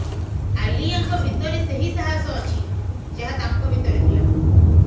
ଆଲିଆଙ୍କ ଭିତରେ ସେହି ସାହସ ଅଛି ଯାହା ତାଙ୍କ ଭିତରେ ଥିଲା